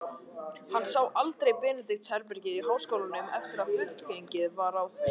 Hann sá aldrei Benedikts-herbergið í háskólanum, eftir að fullgengið var frá því.